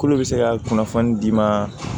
K'olu bɛ se ka kunnafoni d'i ma